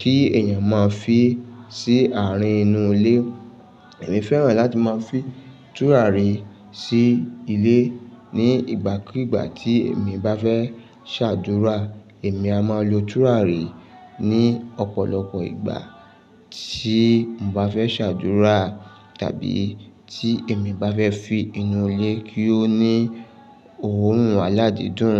kí èèyàn máa fi sí àárín inú ilé. Èmi fẹ́ràn láti máa fi tùràrí sí ilé ní ìgbàkígbà tí èmi bá fẹ́ ṣàdúrà. Èmi a máa lo tùràrí ní ọ̀pọ̀lọpọ̀ ìgbà tí mo bá fẹ́ ṣàdúrà tàbí tí èmi bá fẹ́ fin inú ilé kí ó ní òórùn aládídùn.